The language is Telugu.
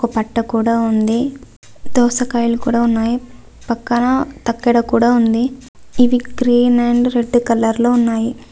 ఒక పట్ట కూడా ఉంది దోసకాయలు కూడా ఉన్నాయి పక్కన ఒక తక్కెడ కూడా ఉంది ఇవి గ్రీన్ అండ్ రెడ్ కలర్ లో ఉన్నాయి.